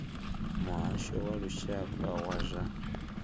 muhasho wa lushaka wa zwa